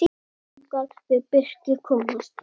Þangað vill Birkir komast.